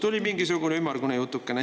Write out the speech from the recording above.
Tuli mingisugune ümmargune jutukene.